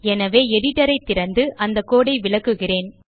எனவே எடிட்டர் ஐ திறந்து அந்த codeஐ விளக்குகிறேன்